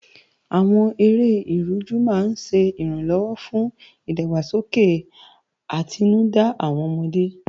Àwọn eré Ìrújú máa ń ṣẹ ìrànlọ́wọ́ fún ìdàgbàsókè àtinúdá àwọn ọmọdé